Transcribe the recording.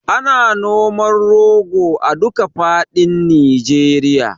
Ana noman rogo a duka faɗin Nijeriya